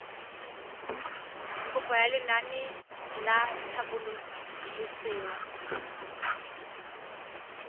kopo ya lenaane la tlhabololosewa